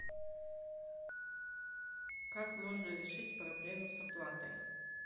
как можно решить проблему с оплатой